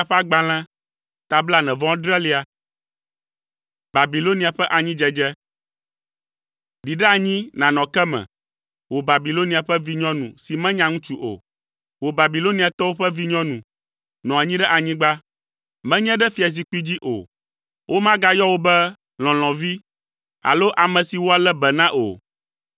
“Ɖi ɖe anyi nànɔ ke me, wò Babilonia ƒe vinyɔnu si menya ŋutsu o. Wò Babiloniatɔwo ƒe vinyɔnu, nɔ anyi ɖe anyigba, menye ɖe fiazikpui dzi o. Womagayɔ wò be lɔlɔ̃vi alo ame si woalé be na o.